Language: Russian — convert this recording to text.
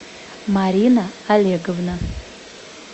марина олеговна